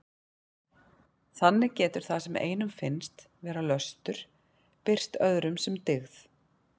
Þannig getur það sem einum finnst vera löstur birst öðrum sem dyggð.